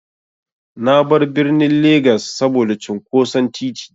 Na bar birnin Legas saboda cunƙoson titi.